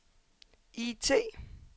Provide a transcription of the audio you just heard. IT